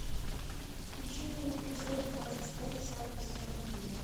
включи мне эпизод двадцать пять десятого сезона геймеры